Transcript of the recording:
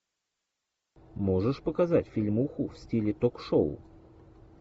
можешь показать фильмуху в стиле ток шоу